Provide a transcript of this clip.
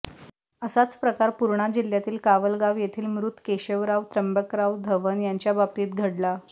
असाच प्रकार पूर्णा जिल्ह्यातील कावलगाव येथील मृत केशवराव त्र्यंबकराव धवन यांच्याबाबतीत घडला